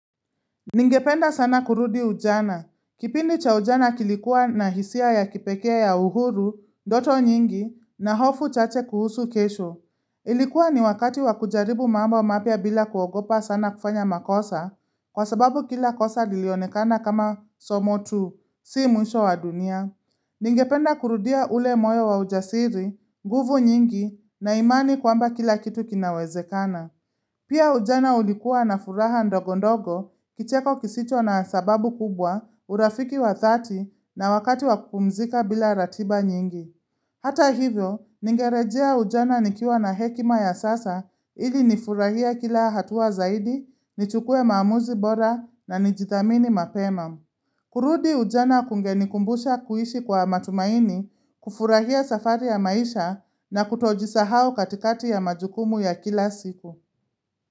Ningependa sana kurudi ujana. Kipindi cha ujana kilikuwa na hisia ya kipekee ya uhuru, ndoto nyingi, na hofu chache kuhusu kesho. Ilikuwa ni wakati wa kujaribu mambo mapya bila kuogopa sana kufanya makosa, kwa sababu kila kosa lilionekana kama somo tu, si mwisho wa dunia. Ningependa kurudia ule moyo wa ujasiri, nguvu nyingi, na imani kwamba kila kitu kinawezekana. Pia ujana ulikuwa na furaha ndogondogo kicheko kisicho na sababu kubwa urafiki wa thati na wakati wa kupumzika bila ratiba nyingi. Hata hivyo, ningerejea ujana nikiwa na hekima ya sasa ili nifurahie kila hatua zaidi, nichukue maamuzi bora na nijithamini mapema. Kurudi ujana kungenikumbusha kuishi kwa matumaini, kufurahia safari ya maisha na kutojisahau katikati ya majukumu ya kila siku.